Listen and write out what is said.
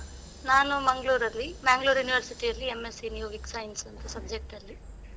ನಾನು Manglore ಅಲ್ಲಿ Manglore University ಅಲ್ಲಿ M.Sc in Yogic Science ಅಂತ subject ಅಲ್ಲಿ.